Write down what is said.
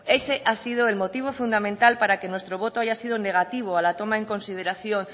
ese ha sido el motivo fundamental para que nuestro voto haya sido negativo a la toma en consideración